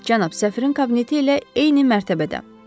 Cənab, səfirin kabineti ilə eyni mərtəbədə.